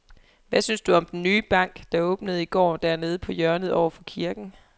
Hvad synes du om den nye bank, der åbnede i går dernede på hjørnet over for kirken?